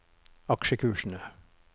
aksjekursene